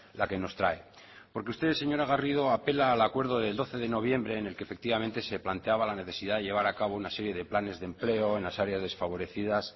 la que nos trae porque usted señora garrido apela al acuerdo del doce de noviembre en el que efectivamente se planteaba la necesidad de llevar a cabo una serie de planes de empleo en las áreas desfavorecidas